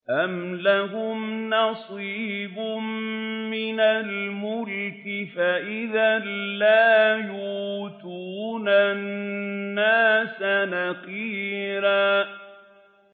أَمْ لَهُمْ نَصِيبٌ مِّنَ الْمُلْكِ فَإِذًا لَّا يُؤْتُونَ النَّاسَ نَقِيرًا